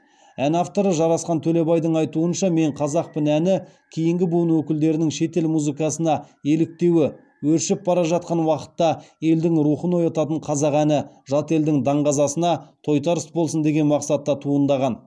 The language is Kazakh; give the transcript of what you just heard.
ән авторы жарасқан төлебайдың айтуынша мен қазақпын әні кейінгі буын өкілдерінің шетел музыкасына еліктеуі өршіп бара жатқан уақытта елдің рухын оятатын қазақ әні жат елдің даңғазасына тойтарыс болсын деген мақсатта туындаған